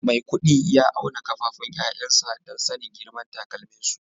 Maikudi ya auna kafafun 'ya'yansa don sanin girman takalminsu